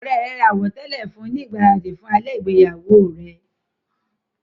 Ọ̀rẹ́ rẹ̀ ra àwọ̀tẹ́lẹ̀ fún un ní ìgbáradì fún alẹ́ ìgbéyàwó rẹ.